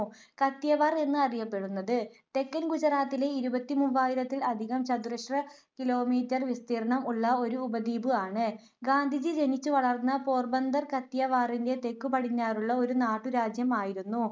കത്തിയവാർ എന്ന് അറിയപെടുന്നത് തെക്കൻ ഗുജറാത്തിലെ ഇരുപത്തിമൂവായിരത്തിൽ അധികം ചതുരശ്ര കിലോമീറ്റർ വിസ്തീർണം ഉള്ള ഒരു ഉപദ്വീപ് ആണ്. ഗാന്ധിജി ജനിച്ചു വളർന്ന പോർബന്തർ കത്തിയവാറിന്റെ തെക്കുപടിഞ്ഞാറുള്ള ഒരു നാട്ടുരാജ്യം ആയിരുന്നു.